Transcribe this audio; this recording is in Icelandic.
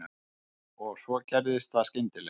Og svo gerist það skyndilega.